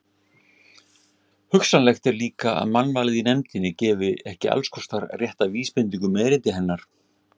Hugsanlegt er líka, að mannvalið í nefndinni gefi ekki allskostar rétta vísbendingu um erindi hennar.